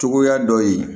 Cogoya dɔ ye